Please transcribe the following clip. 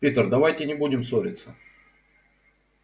питер давайте не будем ссориться